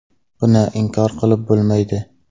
Buni inkor qilib bo‘lmaydi”.